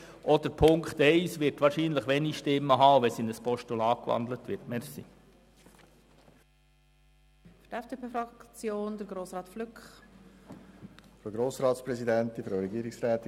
Die Ziffer 1 wird wahrscheinlich auch ein wenig Zustimmung erhalten, sollte sie in ein Postulat umgewandelt werden.